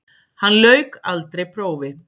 Hann lauk aldrei prófi.